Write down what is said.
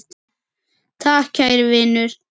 Takk kæri vinur.